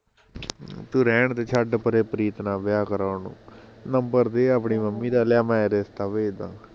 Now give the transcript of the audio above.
ਤੂੰ ਰਹਿਣਦੇ ਛੱਡ ਪਰੇ ਪ੍ਰੀਤ ਨਾਲ਼ ਵਿਆਹ ਕਰਾਉਣ ਨੂੰ ਨੰਬਰ ਦੇ ਆਪਣੀ ਮੰਮੀ ਦਾ ਲਿਆ ਮੈਂ ਰਿਸਤਾ ਭੇਜਦਾ